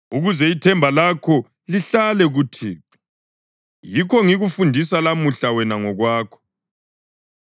Ukuze ithemba lakho lihlale kuThixo, yikho ngikufundisa lamuhla wena ngokwakho.